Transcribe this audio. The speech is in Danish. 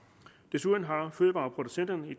desuden har fødevareproducenterne i